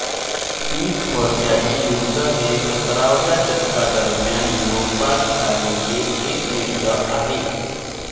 तीस वर्षाचे युद्ध हे सतराव्या शतकादरम्यान युरोपात झालेले एक युद्ध आहे